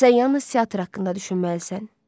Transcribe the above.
Sən yalnız teatr haqqında düşünməlisən.